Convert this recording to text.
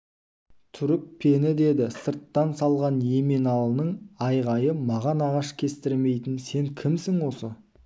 түрікпенідеді сырттан салған еменалының айғайы маған ағаш кестірмейтін сен кімсің осы